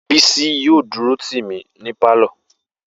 Bisi yóò dúró tì mí ní pálọ̀